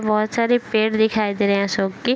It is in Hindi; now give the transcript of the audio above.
बोहोत सारे पेड़ दिखाई दे रहे हैं अशोक के।